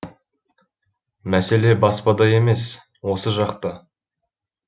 мәселе баспада емес осы жақта